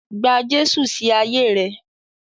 Gba Jésù sí ayé rẹ.